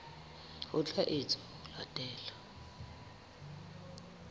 ho tla etswa ho latela